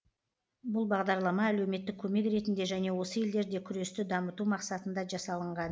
бұл бағдарлама әлеуметтік көмек ретінде және осы елдерде күресті дамыту мақсатында жасалынған